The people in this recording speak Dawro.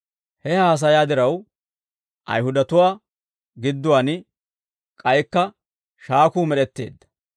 He haasayaa diraw, Ayihudatuwaa gidduwaan k'aykka shaakuu med'etteedda.